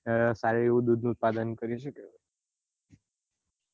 સારું એવું દૂધ નું ઉત્પાદન કરી શકે